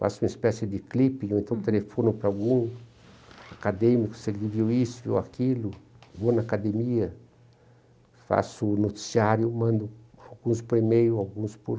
Faço uma espécie de clipe, ou então telefono para algum acadêmico, se ele viu isso, viu aquilo, vou na academia, faço noticiário, mando alguns por e-mail, alguns por